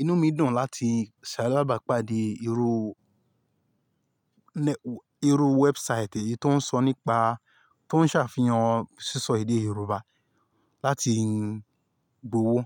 inú mi dùn láti ṣàlábàpáde irú, irú website yìí tó ń sọ nípa, tó ń ṣàfihàn sísọ èdè Yorùbá láti gb'ówó.